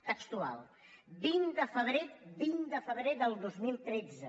textual vint de febrer vint de febrer del dos mil tretze